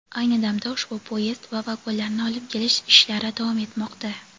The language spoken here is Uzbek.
Ayni damda ushbu poyezd va vagonlarni olib kelish ishlari davom etmoqda.